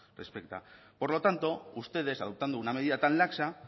respecta por lo tanto ustedes adoptando una medida tan laxa